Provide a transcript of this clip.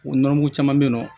O nɔnɔmugu caman bɛ yen nɔ